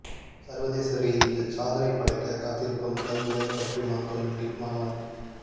சர்வதேச ரீதியில் சாதனை படைக்க காத்திருக்கும் கல்முனை பற்றிமா கல்லூரி மாணவன்